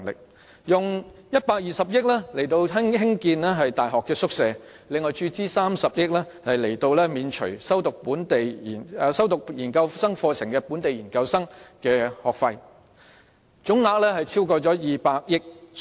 此外，政府亦撥出120億元興建大學宿舍，並注資30億元免除修讀本地研究生課程的學生的學費，總額超過200億元。